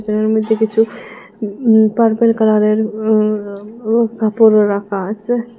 এর মধ্যে কিছু উ পার্পেল কালারের উ উ কাপড় রাখা আসে।